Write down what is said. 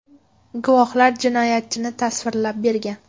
Guvohlar jinoyatchini tasvirlab bergan.